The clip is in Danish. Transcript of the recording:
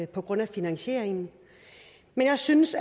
på grund af finansieringen men jeg synes